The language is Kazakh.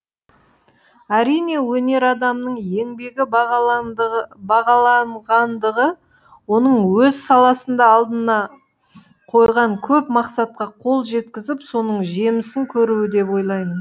әрине өнер адамының еңбегі бағаланғандығы оның өз саласында алдына қойған көп мақсатқа қол жеткізіп соның жемісін көруі деп ойлаймын